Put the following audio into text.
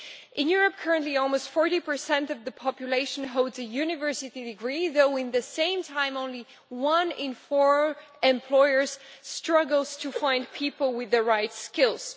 In Europe currently almost 40 of the population holds a university degree, though at the same time one in four employers struggle to find people with the right skills.